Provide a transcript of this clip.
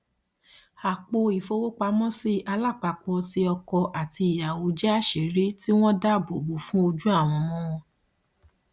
apo ìfowópamọsí alápapọ ti ọkọ àti ìyàwó jẹ àṣírí tí wọn dáàbòbò fún ojú àwọn ọmọ wọn